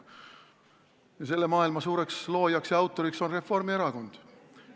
Selle maailma suureks loojaks ja autoriks on Reformierakond.